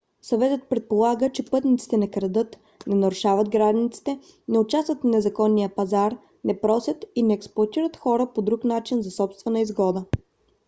съветът предполага че пътниците не крадат не нарушават границите не участват в незаконния пазар не просят и не експлоатират хора по друг начин за собствена изгода